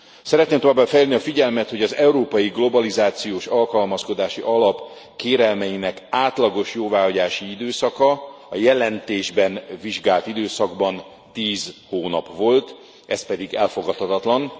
Szeretném továbbá felhívni a figyelmet, hogy az Európai Globalizációs Alkalmazkodási Alap kérelmeinek átlagos jóváhagyási időszaka a jelentésben vizsgált időszakban 10 hónap volt, ez pedig elfogadtathatatlan.